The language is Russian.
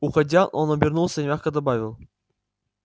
уходя он обернулся и мягко добавил